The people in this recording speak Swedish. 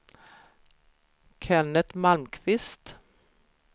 Kenneth Malmqvist